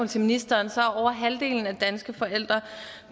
til ministeren er over halvdelen af danske forældre